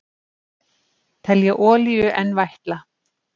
Telja olíu enn vætla